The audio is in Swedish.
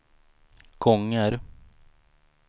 gånger